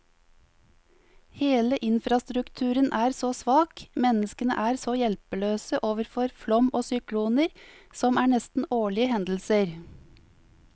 Hele infrastrukturen er så svak, menneskene er så hjelpeløse overfor flom og sykloner, som er nesten årlige hendelser.